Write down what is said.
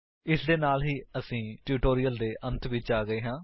ਇਸ ਦੇ ਨਾਲ ਹੀ ਅਸੀਂ ਟਿਊਟੋਰਿਅਲ ਦੇ ਅੰਤ ਵਿੱਚ ਆ ਗਏ ਹਾਂ